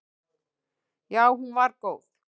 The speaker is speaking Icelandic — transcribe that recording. Já hún var góð.